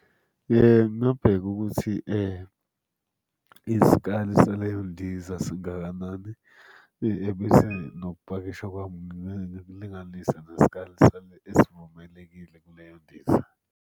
Ngingabheka ukuthi isikali saleyo ndiza singakanani, ebese nokupakisha kwami ngikulinganise nesikali esivumelekile kuleyo ndiza.